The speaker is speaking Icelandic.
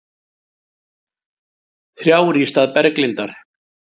Þrjár í stað Berglindar